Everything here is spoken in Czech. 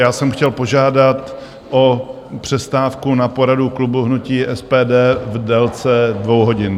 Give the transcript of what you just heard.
Já jsem chtěl požádat o přestávku na poradu klubu hnutí SPD v délce dvou hodin.